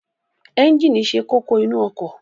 Ẹ́ńjíìnì ṣe kókó nínu ọkọ̀.